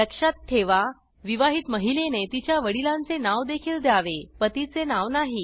लक्षात ठेवा विवाहित महिलेने तिच्या वडिलांचे नाव देखील द्यावे पती चे नाव नाही